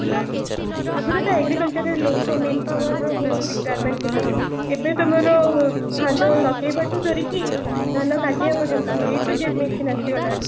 ଆଗରୁ ତ agriculture ରେ ଲୋକ men power ର ବହୁତ requirement ଥିଲା ଏବେ ତମର ଧାନ ଲଗେଇବା ଠୁ ଧରିକି ଧାନ କାଟିବା ପର୍ଯ୍ୟନ୍ତ a ଠୁ z machine ଆସିଗଲାଣି